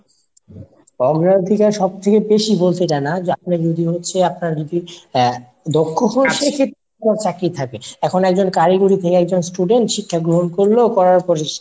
অগ্রাধিকার সব থেকে বেশি বলতে জানায় আপনার যদি হচ্ছে আপনার যদি দক্ষ হন সেক্ষেত্রে চাকরি থাকবে। এখন একজন কারিগরি থেকে একজন student শিক্ষা গ্রহণ করলো। করার পরে